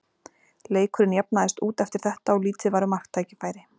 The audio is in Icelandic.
Leikurinn jafnaðist út eftir þetta og lítið var um marktækifæri.